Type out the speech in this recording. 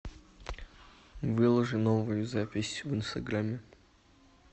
выложи новую запись в инстаграмме